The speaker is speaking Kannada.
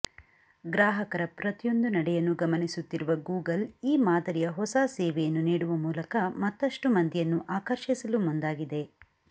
ಗ್ರಾಹಕರ ಪ್ರತಿಯೊಂದು ನಡೆಯನ್ನು ಗಮನಿಸುತ್ತಿರುವ ಗೂಗಲ್ ಈ ಮಾದರಿಯ ಹೊಸ ಸೇವೆಯನ್ನು ನೀಡುವ ಮೂಲಕ ಮತ್ತಷ್ಟು ಮಂದಿಯನ್ನು ಆಕರ್ಷಿಸಲು ಮುಂದಾಗಿದೆ